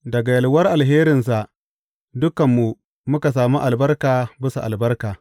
Daga yalwar alherinsa dukanmu muka sami albarka bisa albarka.